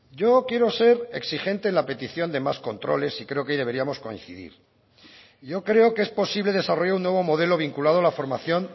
yo quiero ser exigente en la petición de más controles y creo que deberíamos coincidir yo creo que es posible desarrollar un nuevo modelo vinculado a la formación